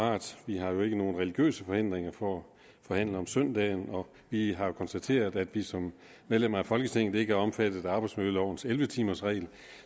parat vi har jo ikke nogen religiøse forhindringer for at forhandle om søndagen og vi har konstateret at vi som medlemmer af folketinget ikke er omfattet af arbejdsmiljølovens elleve timers regel